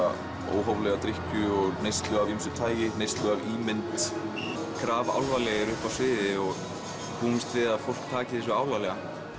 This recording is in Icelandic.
óhóflega drykkju og neyslu af ýmsu tagi neyslu af ímynd grafalvarlegir uppi á sviði og búumst við að fólk taki þessu alvarlega